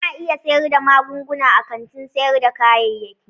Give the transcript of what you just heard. Ana iya siyar da magunguna a kantin sayar da kayayyaki.